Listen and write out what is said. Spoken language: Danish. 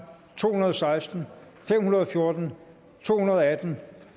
to hundrede og seksten fem hundrede og fjorten to hundrede og atten